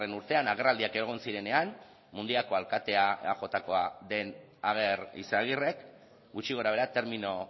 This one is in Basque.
urtean agerraldiak egon zirenean mungiako alkateak eajkoa den ager izagirrek gutxi gorabehera termino